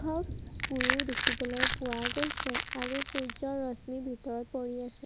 দেখিবলৈ পোৱা গৈছে আৰু সূৰ্য্যৰ ৰশ্মি ভিতৰত পৰি আছে।